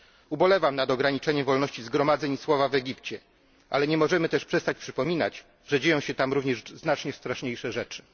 Ubolewam nad ograniczeniem wolności zgromadzeń i słowa w Egipcie, ale nie możemy też przestać przypominać, że dzieją się tam również znacznie straszniejsze rzeczy.